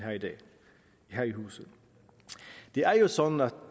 her i huset det er jo sådan at